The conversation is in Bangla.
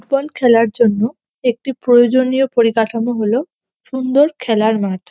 বল খেলার জন্য একটি প্রয়োজনীয় পরিকাঠামো হল সুন্দর খেলার মাঠ।